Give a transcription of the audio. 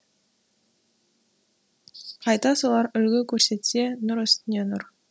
қайта солар үлгі көрсетсе нұр үстіне нұр